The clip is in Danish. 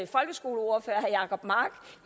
folkeskoleordfører herre jacob mark